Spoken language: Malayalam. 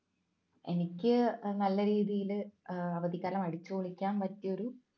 എനിക്ക് നല്ല രീതിയിൽ അവധിക്കാലം അടിച്ചു പൊളിക്കാൻ പറ്റിയ ഒരു